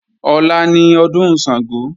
Ọ̀la ni ọdún Ṣàngó